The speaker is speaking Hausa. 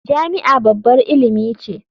Jami'a babbar ilimi ce.